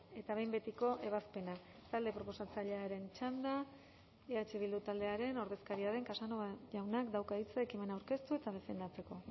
eta behin betiko ebazpena talde proposatzailearen txanda eh bildu taldearen ordezkaria den casanova jaunak dauka hitza ekimena aurkeztu eta defendatzeko